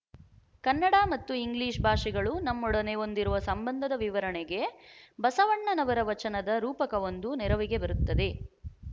ಕನ್ನಡ ಮತ್ತು ಇಂಗ್ಲಿಶ ಭಾಷೆಗಳು ನಮ್ಮೊಡನೆ ಹೊಂದಿರುವ ಸಂಬಂಧದ ವಿವರಣೆಗೆ ಬಸವಣ್ಣನವರ ವಚನದ ರೂಪಕವೊಂದು ನೆರವಿಗೆ ಬರುತ್ತದೆ